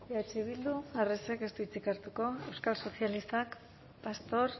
eh bildu arresek ez du hitzik hartuko euskal sozialistak pastor